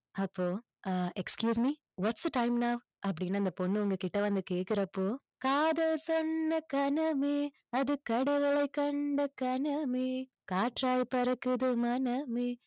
அப்போ ah excuse me what's the time now அப்படின்னு அந்த பொண்ணு உங்ககிட்ட வந்து கேக்குறப்போ காதல் சொன்ன கணமே அது கடவுளைக் கண்ட கணமே காற்றாய் பறக்குது மனமே